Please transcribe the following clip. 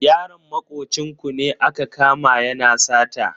Yaron makocin ku ne aka kama yana sata.